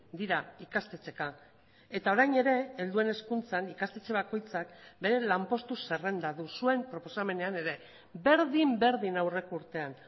dira ikastetxeeka eta orain ere helduen hezkuntzan ikastetxe bakoitzak bere lanpostu zerrenda du zuen proposamenean ere berdin berdin aurreko urtean